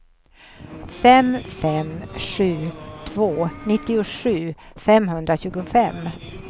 fem fem sju två nittiosju femhundratjugofem